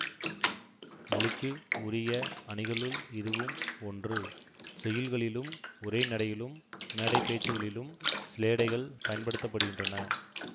மொழிக்கு உரிய அணிகளுள் இதுவும் ஒன்று செய்யுள்களிலும் உரை நடையிலும் மேடை பேச்சுக்களிலும் சிலேடைகள் பயன்படுத்த படுகின்றன